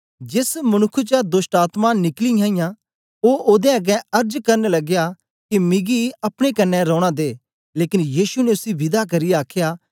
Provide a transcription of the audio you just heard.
जेस मनुक्ख चा दोष्टआत्मायें निकली इयां ओ ओदे अगें अर्ज करन लगया के मिगी अपने कन्ने रौना दे लेकन यीशु ने उसी विदा करियै आखया